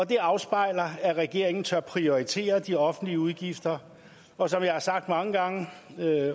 det afspejler at regeringen tør prioritere de offentlige udgifter og som jeg har sagt mange gange